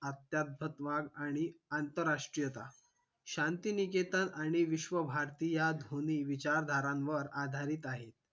आत्यातत्वात आणि आंतराष्ट्रीयता शांतिनिकेतन आणि विश्वभारती या दोनही विचारधारावर आधारित आहे